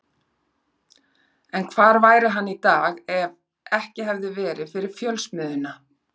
En hvar væri hann í dag ef ekki hefði verið fyrir Fjölsmiðjuna?